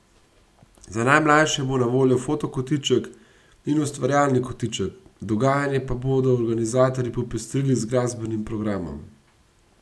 Za najmlajše bo na voljo fotokotiček in ustvarjalni kotiček, dogajanje pa bodo organizatorji popestrili z glasbenim programom.